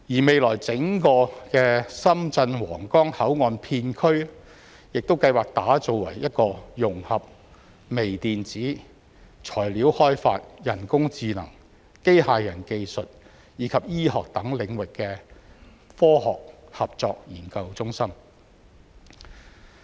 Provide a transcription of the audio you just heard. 未來整個深圳皇崗口岸片區亦計劃打造為一個融合微電子、材料開發、人工智能、機械人技術及醫學等領域的科學合作研究中心。